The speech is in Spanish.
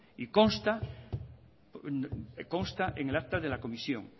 y consta en el acta de la comisión